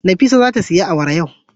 Nafisa zata siya awara yau.